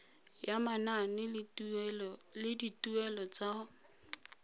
ya manane le dituelo tsa